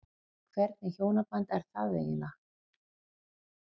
Hvernig hjónaband er það eiginlega?